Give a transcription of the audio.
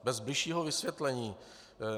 Bez bližšího vysvětlení.